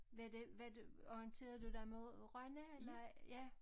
Var det var du orienterede du dig mod Rønne eller ja